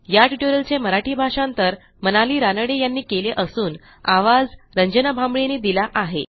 या ट्युटोरियलचे मराठी भाषांतर मनाली रानडे यांनी केले असून आवाज यांनी दिला आहे